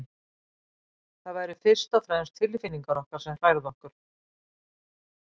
Það væru fyrst og fremst tilfinningar okkar sem hrærðu okkur.